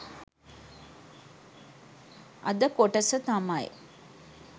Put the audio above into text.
අද කොටස තමයි